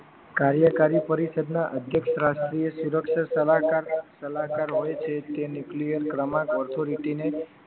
કાર્યકારી પરિષદના અધ્યક્ષ રાષ્ટ્રીય સુરક્ષા સલાહકાર સલાહકાર હોય છે તે ન્યુક્લિયર ક્રમાંક ઓથોરિટી ને